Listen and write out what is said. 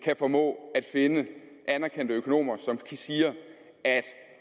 kan formå at finde anerkendte økonomer som siger